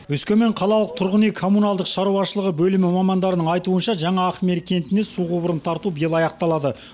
өскемен қалалық тұрғын үй коммуналдық шаруашылығы бөлімі мамандарының айтуынша жаңа ақмелі кентіне су құбырын тарту биыл аяқталады